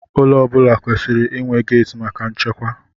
Ụlọ ọ bụla kwesịrị inwe geeti maka nchekwa.